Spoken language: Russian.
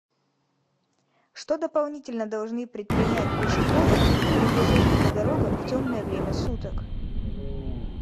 что дополнительно должны предпринять пешеходы при движении по дорогам в темное время суток